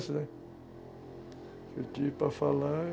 Esquece, O que eu tive para falar...